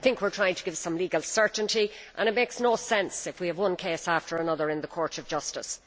We are trying to give some legal certainty and it makes no sense if we have one case after another in the Court of Justice.